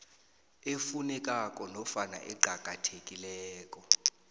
efunekako nofana eqakathekileko